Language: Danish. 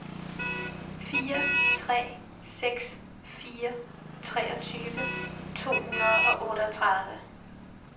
fire tre seks fire treogtyve to hundrede og otteogtredive